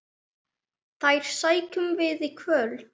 Þær sækjum við í kvöld.